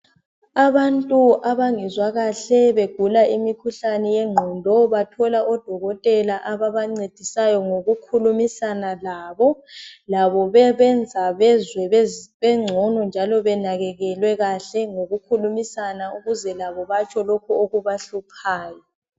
Abantu abangezwa kahle begula imikhuhlane yengqondo bathola odokotela ababancedisayo ngokukhulumisana labo. Labo bebenza bezwe bengcono njalo benakekelwe kahle ngokukhulumisana ukuze labo batsho lokho okubahluphayo.